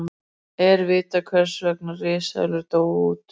Er vitað hvers vegna risaeðlur dóu út?